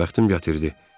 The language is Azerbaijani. Bəxtim gətirdi.